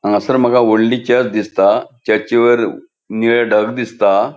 हांगासर मका वोडली चर्च दिसता चर्चीवैर निळे ढग दिसता.